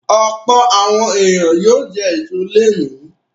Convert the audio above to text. Ọ̀pọ̀ àwọn ènìyàn yóò jẹ èso lónìí.